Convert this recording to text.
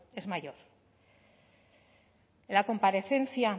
es mayor en la comparecencia